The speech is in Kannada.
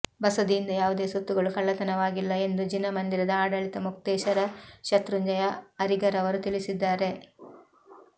ಬಸದಿಯಿಂದ ಯಾವುದೇ ಸೊತ್ತುಗಳು ಕಳ್ಳತನವಾಗಿಲ್ಲ ಎಂದು ಜಿನ ಮಂದಿರದ ಆಡಳಿತ ಮೊಕ್ತೇಸರ ಶತ್ರುಂಜಯ ಅರಿಗರವರು ತಿಳಿಸಿದ್ದಾರೆ